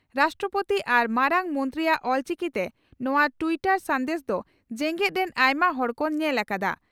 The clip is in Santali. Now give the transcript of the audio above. ᱨᱟᱥᱴᱨᱚᱯᱳᱛᱤ ᱟᱨ ᱢᱟᱨᱟᱝ ᱢᱚᱱᱛᱨᱤᱭᱟᱜ ᱚᱞᱪᱤᱠᱤᱛᱮ ᱱᱚᱣᱟ ᱴᱤᱭᱴᱚᱨ ᱥᱟᱱᱫᱮᱥ ᱫᱚ ᱡᱮᱜᱮᱛ ᱨᱮᱱ ᱟᱭᱢᱟ ᱦᱚᱲ ᱠᱚ ᱧᱮᱞ ᱟᱠᱟᱫᱼᱟ ᱾